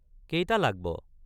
কেইটা লাগ্ ব?